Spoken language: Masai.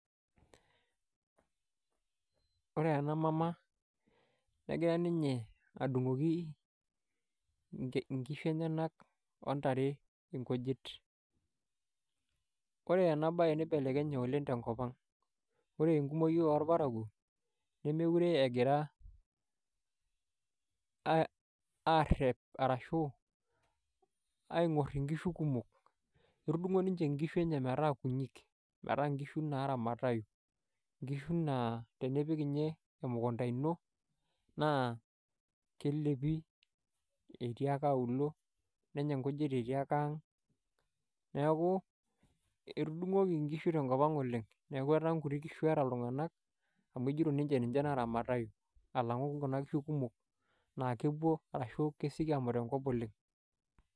Ore ena mama negira ninye adungoki inkishu enyenak ontare nkujit . Ore ena bae nibelekenye oleng tenkop ang , ore enkumoi orparakuo nemokire egira arep arashu aingor inkishu kumok, etudungo ninche inkishu enye metaa kunyik metaa nkishu naramatayu . Nkishu naa tenipik ninye emukunta ino naa kelepi etii ake auluo , nenya nkujit etii ake auluo, neeku etudungoki nkishu tenkop ang oleng , niaku etaa nkuti kishu eeta iltunganak amu ejito ninche naramatau alangu kuna kishu kumok naa kepuo arashu kesioki amut enkop oleng.